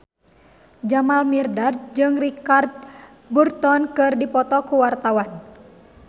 Jamal Mirdad jeung Richard Burton keur dipoto ku wartawan